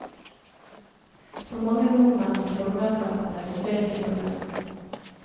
For mange nordmenn ble formuesskatten redusert i fjor høst.